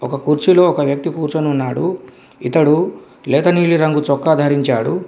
ఒక కుర్చీలో ఒక వ్యక్తి కూర్చొని ఉన్నాడు ఇతడు లేత నీలిరంగు చొక్కా ధరించాడు.